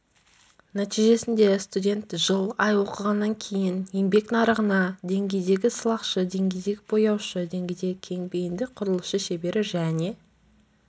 нәтижесінде студент жыл ай оқығаннан кейін еңбек нарығына деңгейдегі сылақшы деңгейдегі бояушы деңгейдегі кең бейінді құрылысшы шебері және